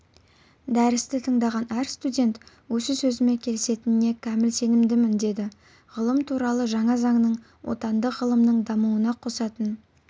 дәрісті тыңдаған әр студент осы сөзіме келісетініне кәміл сенімдімін деді ғылым туралы жаңа заңның отандық ғылымның дамуына қосатын